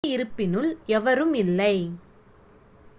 குடியிருப்பினுள் எவரும் இல்லை